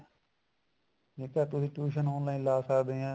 ਠੀਕ ਐ ਤੁਸੀਂ tuition online ਲਾ ਸਕਦੇ ਆ